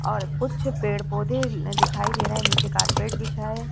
और कुछ पेड़-पौधे दिखाई दे रहे हैं। नीचे कारपेट बिछा है।